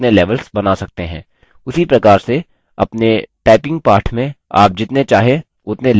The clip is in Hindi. उसी प्रकार से अपने typing पाठ में आप जितने चाहे उतने levels बना सकते हैं